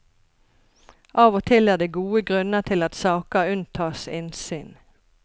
Av og til er det gode grunner til at saker unntas innsyn.